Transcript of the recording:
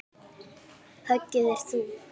Höggið er þungt.